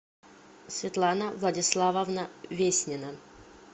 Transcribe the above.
светлана владиславовна веснина